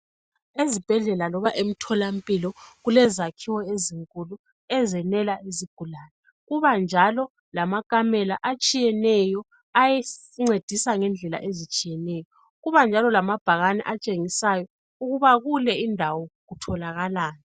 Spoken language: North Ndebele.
Ezibhedlela loba emtholampilo kulezakhiwo ezinkulu ezenela izigulane. Kuba njalo lamakamela atshiyeneyo ancedisa ngendlela ezitshiyeneyo. Kuba njalo lamabhakani atshengisayo ukuba kule indawo kutholakalani.